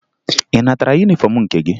Ị natara yunifọmụ nke gị?